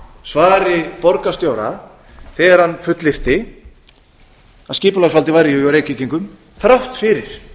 svari borgarstjóra þegar hann fullyrti að skipulagsvaldið væri hjá reykvíkingum þrátt fyrir